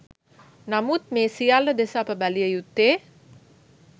නමුත් මේ සියල්ල දෙස අප බැලිය යුත්තේ